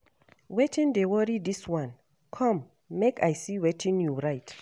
Wetin dey worry dis one, come make I see wetin you write